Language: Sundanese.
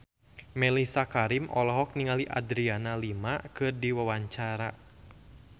Mellisa Karim olohok ningali Adriana Lima keur diwawancara